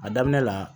A daminɛ la